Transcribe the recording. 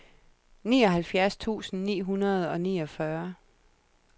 nioghalvfjerds tusind ni hundrede og niogfyrre